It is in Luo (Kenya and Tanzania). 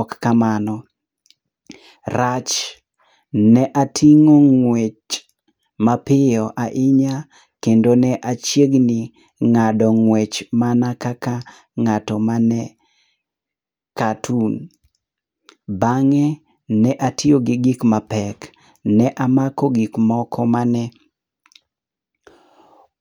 ok kamano rach ne atingo ngwech ma piyo ahinya kendo ne achiegni ng'ado weche mana kaka ng'ato ma ne cartoon. Bang'e ne atiyo gi gik mapek ne amoko e gik mane